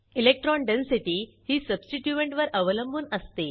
electron density ही substituent वर अवलंबून असते